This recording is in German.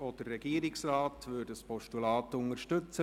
Auch der Regierungsrat würde ein Postulat unterstützen.